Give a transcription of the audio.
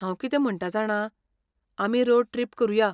हांव कितें म्हणटा जाणा, आमी रोड ट्रिप करुया.